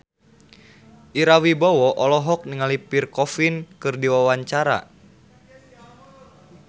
Ira Wibowo olohok ningali Pierre Coffin keur diwawancara